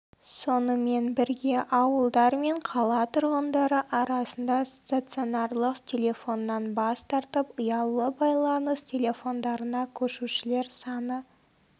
сонымен бірге ауылдар мен қала тұрғындары арасында стационарлық телефоннан бас тартып ұялы байланыс телефондарына көшушілер саны